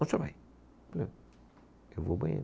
Onde você vai, ah, eu vou ao banheiro.